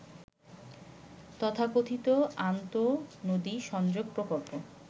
তথাকথিত আন্তঃনদী সংযোগ প্রকল্প